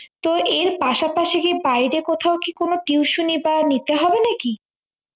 তো এর পাশাপাশি কি বাইরে কোথাও কি কোনো tuition ই বা নিতে হবে নাকি